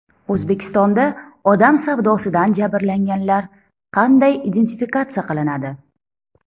O‘zbekistonda odam savdosidan jabrlanganlar qanday identifikatsiya qilinadi?